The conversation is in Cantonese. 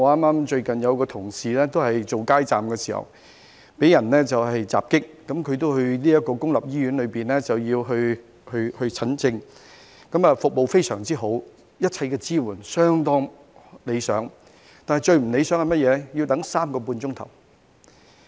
我有一位同事最近擺街站時遭受襲擊，他前往公立醫院求診，醫院的服務非常好，一切支援相當理想，但最不理想的是甚麼呢？